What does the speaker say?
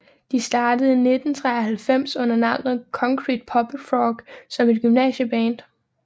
De startede i 1993 under navnet Concrete Puppet Frog som et gymnasieband